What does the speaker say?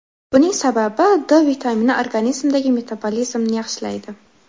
Buning sababi D vitamini organizmdagi metabolizmni yaxshilaydi.